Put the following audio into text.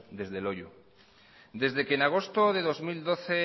desde loiu desde que en agosto del dos mil doce